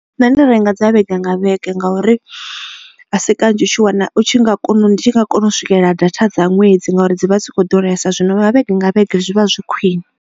Nṋe ndo renga dza vhege nga vhege ngauri a si kanzhi u tshi wana u tshi nga kona u ndi tshi nga kona u swikelela data dza ṅwedzi ngauri dzi vha dzi kho ḓuresa zwino vha vhege nga vhege zwi vha zwi khwine.